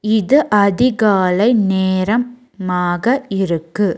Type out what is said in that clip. இது அதிகாலை நேரம் மாக இருக்கு.